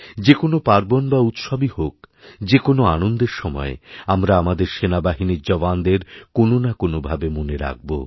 যে কোনও পার্বণ বা উৎসবই হোক যে কোনও আনন্দের সময় আমরা আমাদেরসেনাবাহিনীর জওয়ানদের কোনও না কোনও ভাবে মনে রাখবো